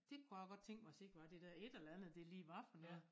Det kunne jeg godt tænke mig at se hvad det dér et eller andet det lige var for noget